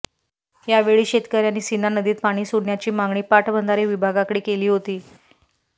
यावेळी शेतकर्यांंनी सीना नदीत पाणी सोडण्याची मागणी पाटबंधारे विभागाकडे केली होती